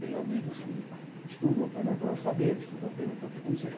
Tenho amigos que estudam apenas para saber, estudam apenas para ter conhecimento.